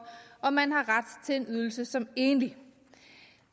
om man har ret til en ydelse som enlig